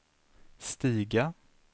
stiga